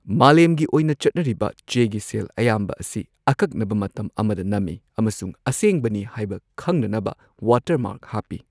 ꯃꯥꯂꯦꯝꯒꯤ ꯑꯣꯏꯅ ꯆꯠꯅꯔꯤꯕ ꯆꯦꯒꯤ ꯁꯦꯜ ꯑꯌꯥꯝꯕ ꯑꯁꯤ ꯑꯀꯛꯅꯕ ꯃꯇꯝ ꯑꯃꯗ ꯅꯝꯃꯤ ꯑꯃꯁꯨꯡ ꯑꯁꯦꯡꯕꯅꯤ ꯍꯥꯏꯕ ꯈꯪꯅꯅꯕ ꯋꯥꯇꯔꯃꯥꯔꯛ ꯍꯥꯞꯄꯤ꯫